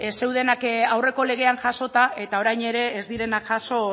zeudenak aurreko legean jasota eta orain ere ez direnak jaso